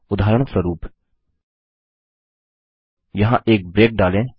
उदाहरणस्वरूप यहाँ एक ब्रेक डालें